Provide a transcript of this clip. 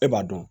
E b'a dɔn